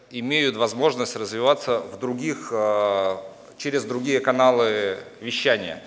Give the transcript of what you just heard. имеют возможность развиваться в других через другие каналы вещания